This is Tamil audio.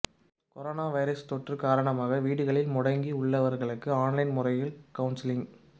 கொரோனா வைரஸ் தொற்று காரணமாக வீடுகளில் முடங்கியுள்ளவர்களுக்கு ஒன்லைன் முறையில் கவுன்சிலிங்